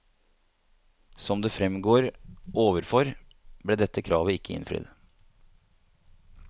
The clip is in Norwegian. Som det fremgår overfor, ble dette kravet ikke innfridd.